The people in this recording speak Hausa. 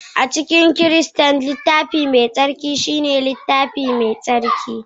a cikin Kiristanci, Littafi Mai Tsarki shine littafinsu mai tsarki